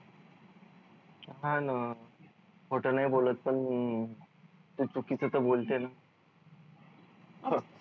हा न खोट नाही बोलत पण तू चुकीच त बोलते न